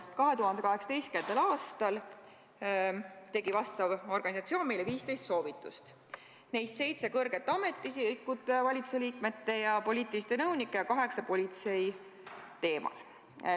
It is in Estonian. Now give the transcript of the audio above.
2018. aastal andis see organisatsioon meile 15 soovitust, neist seitse kõrgete ametiisikute, valitsuse liikmete ja poliitiliste nõunike ning kaheksa politsei teemal.